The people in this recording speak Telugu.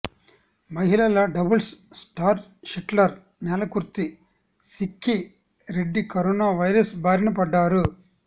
మహిళల doubles star shuttler Nelakurthi Sikki Reddy corona virus బారిన పడ్డారు